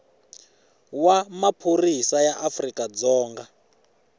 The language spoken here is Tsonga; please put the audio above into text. wa maphorisa ya afrika dzonga